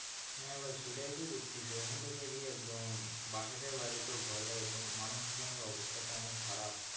হ্যাঁ ভাই সেটাই তো দেখতাছি এখন তো দেখি একদম বাসাতে বাহির হতো ভয় লাগে মানুষ জনের অবস্থা তো অনেক খারাপ,